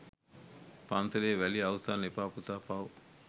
” පන්සලේ වැලි අවුස්සන්න එපා පුතා පව්”.